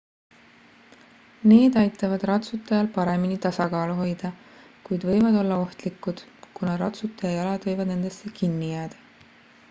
need aitavad ratsutajal paremini tasakaalu hoida kuid võivad olla ohtlikud kuna ratsutaja jalad võivad nendesse kinni jääda